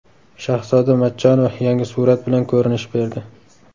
Shahzoda Matchonova yangi surat bilan ko‘rinish berdi.